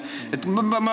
Küsimus palun!